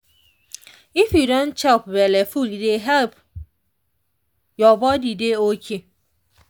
if you don chop belleful e dey help your body dey okay